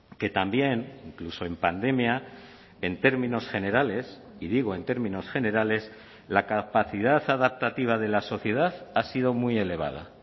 que también incluso en pandemia en términos generales y digo en términos generales la capacidad adaptativa de la sociedad ha sido muy elevada